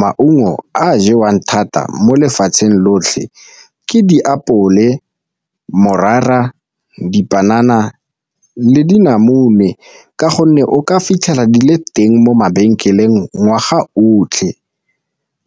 Maungo a a jewang thata mo lefatsheng lotlhe ke diapole, morara, dipanana le dinamune ka gonne o ka fitlhela le teng mo mabenkeleng ngwaga otlhe